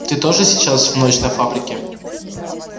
ты тоже сейчас в ночь на фабрике